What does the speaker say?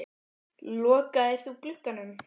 Lokaðir þú glugganum?